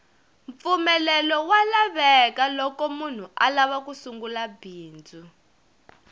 mpfumelelo wa lavekaloko munhu alava ku sungula bindzu